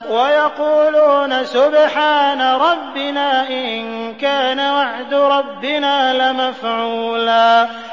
وَيَقُولُونَ سُبْحَانَ رَبِّنَا إِن كَانَ وَعْدُ رَبِّنَا لَمَفْعُولًا